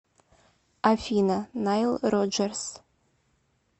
афина найл роджерс